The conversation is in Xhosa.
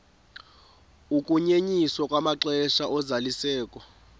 ukunyenyiswa kwamaxesha ozalisekiso